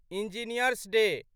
engineer's day